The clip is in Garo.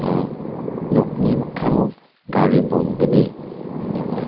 nokni mikango gari bolgni donga.